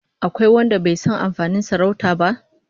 Akwai wanda bai san amfanin sarauta ba?